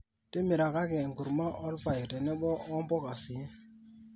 timirakaki enkurma olpaek tenebo wo mbuka sii